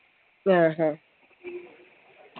ങ്ങാ ഹ